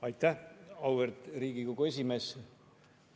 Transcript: Aitäh, auväärt Riigikogu esimees!